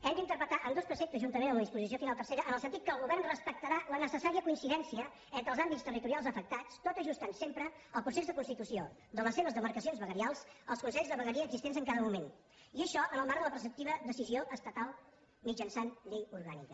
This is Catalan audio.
hem d’interpretar ambdós preceptes juntament amb la disposició final tercera en el sentit que el govern respectarà la necessària coincidència entre els àmbits territorials afectats tot ajustant sempre el procés de constitució de les seves demarcacions veguerials als consells de vegueria existents en cada moment i això en el marc de la preceptiva decisió estatal mitjançant llei orgànica